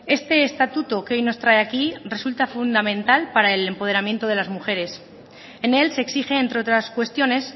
este estatuto que hoy nos trae aquí resulta fundamental para el empoderamiento de las mujeres en él se exige entre otras cuestiones